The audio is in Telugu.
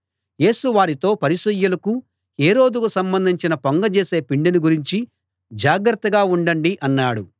యేసు వారితో పరిసయ్యులకు హేరోదుకు సంబంధించిన పొంగజేసే పిండిని గురించి జాగ్రత్తగా ఉండండి అన్నాడు